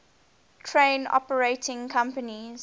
train operating companies